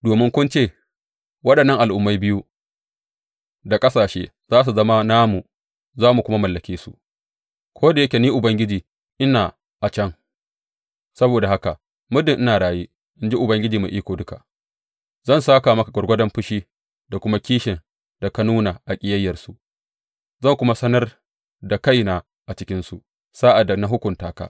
Domin kun ce, Waɗannan al’ummai biyu da ƙasashe za su zama namu za mu kuma mallake su, ko da yake Ni Ubangiji ina a can, saboda haka muddin ina raye, in ji Ubangiji Mai Iko Duka, zan sāka maka gwargwadon fushi da kuma kishin da ka nuna a ƙiyayyarsu da ka yi zan kuma sanar da kaina a cikinsu sa’ad da na hukunta ka.